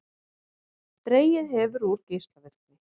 Dregið hefur úr geislavirkni